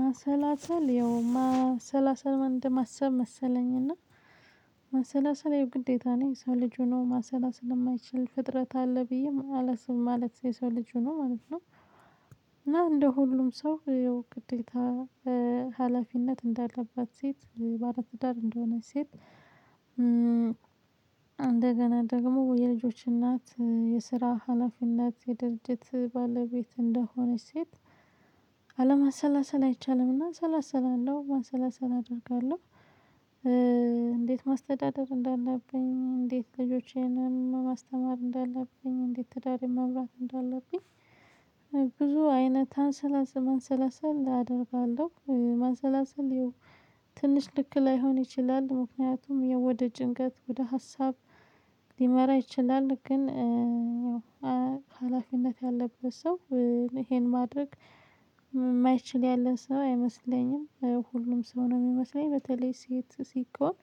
ማሰላሰል ያው ማሰላሰል ማለት እንደ ማሰብ መሰለኝና ማሰላሰል ያው ግዴታ ሰው ልጅ ሁኖ ማሰላሰል እማይችል ፍጥረት አለ ብዬም አላስብም ማለት ማለት ሰው ልጅ ሁኖ ማለት ነው። እና እንደ ሁሉም ሰው ግዴታ ሀላፊነት እንዳለባት ሴት ባለ ትዳር እንደሆነች ሴት እንደገና ደግሞ የልጆች እናት የስራ ሀላፊነት የድርጅት ባለቤት እንደሆነች ሴት። አለማሰላሰል አይቻልምና ሰላሰላ እንደው መሰላሰል አደርጋለሁ። እንዴት ማስተዳደር እንዳለብኝ እንዴት ልጆቼንም ማስተማር እንዳለብኝ እንዴት ትዳር መምራት እንዳለብኝ። ብዙ አይነት ማሰላሰል አደርጋለሁ ማሰላሰል ይሄው ትንሽ ልክ ላይሆን ይችላል ምክንያቱም ወደ ጭንቀት ወደ ሀሳብ ሊመራ ይችላል። ግን ያው ሀላፊነት ያለበት ሰው ይሄን ማድረግ እማይችል ያለ ሰው አይመስለኝም። ሁሉም ሰው ነው እሚመስለኝ በተለይ ሴት ሲቆም